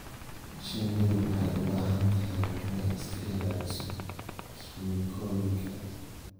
Shinnidu waxay u baahan tahay inay iska ilaaliso kiimikooyinka.